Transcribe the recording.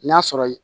N'a sɔrɔ ye